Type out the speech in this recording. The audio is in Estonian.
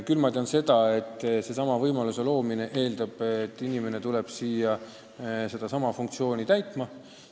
Küll tean ma seda, et selle võimaluse loomine eeldab, et inimene tuleb siia just seda üht funktsiooni täitma.